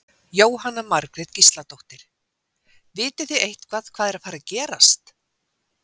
Jóhanna Margrét Gísladóttir: Vitið þið eitthvað hvað er að fara að gerast?